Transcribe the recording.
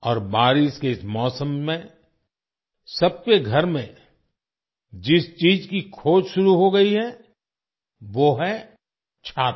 और बारिश के इस मौसम में सबके घर में जिस चीज की खोज शुरू हो गई है वो है 'छाता'